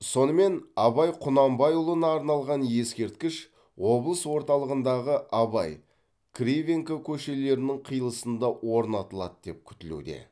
сонымен абай құнанбайұлына арналған ескерткіш облыс орталығындағы абай кривенко көшелерінің қиылысында орнатылады деп күтілуде